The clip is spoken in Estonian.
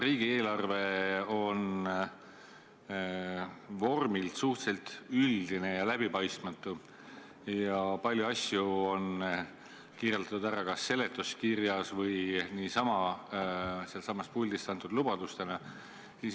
Riigieelarve on vormilt suhteliselt üldine ja läbipaistmatu ning palju asju on kirjeldatud kas seletuskirjas või sealtsamast puldist antud lubadustena.